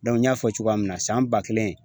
n y'a fɔ cogoya min na san ba kelen